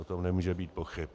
O tom nemůže být pochyb.